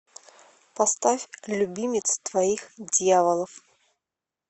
поставь любимец твоих дьяволов